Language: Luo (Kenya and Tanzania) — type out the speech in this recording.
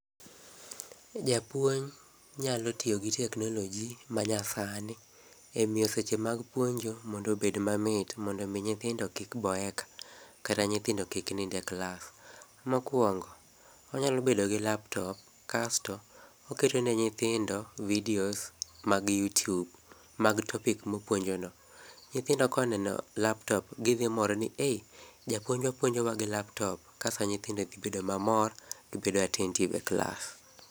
Japuonj nayalo tio gi teknoloji manyasani emio seche mag puonjo mondo obed mamit mondo omi nyithindo kikboeka, kata nyithindo kik nind e klas. Mokwongo, onyalo bedo gi [cslaptop kasto oketo ne nyithindo videos mag youtube mag topic mopuonjono. Nyithindo koneno [csl]aptop gidhimor ni ei! japuonjwa puonjowa gi laptop. Kasto nyithindo dhibedo mamor, gibedo attentive[]cs e kals.